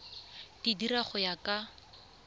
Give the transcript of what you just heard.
di dira go ya ka